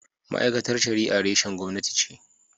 Ma’aikatar Shari’a reshen gwamnati ce.